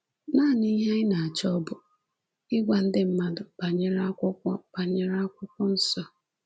Nanị ihe anyị na-achọ bụ ịgwa ndị mmadụ banyere Akwụkwọ banyere Akwụkwọ Nsọ.”